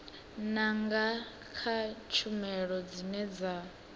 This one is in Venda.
nanga kha tshumelo dzine dza